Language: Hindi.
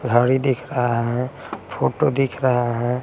घड़ी दिख रहा है फोटो दिख रहा है।